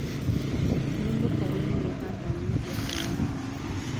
ni mukarĩĩ mũno haha nyĩhĩa tawa